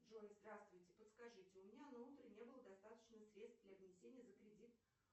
джой здравствуйте подскажите у меня на утро не было достаточно средств для внесения за кредит